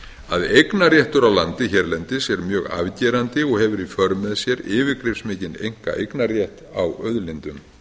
að eignarréttur á landi hérlendis er mjög afgerandi og hefur í för með sér yfirgripsmikinn einkaeignarrétt á auðlindum